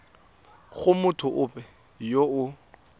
go motho ope yo o